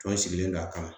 Fɛnw sigilen don a kama